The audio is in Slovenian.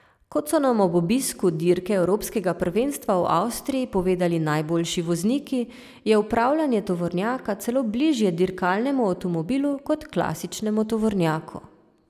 Kot so nam ob obisku dirke evropskega prvenstva v Avstriji povedali najboljši vozniki, je upravljanje tovornjaka celo bližje dirkalnemu avtomobilu kot klasičnemu tovornjaku.